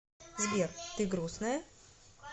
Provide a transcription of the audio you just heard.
сбер ты грустная